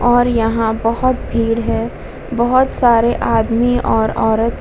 और यहाँ बोहोत भीड़ है। बोहोत सारे आदमी और ओरत--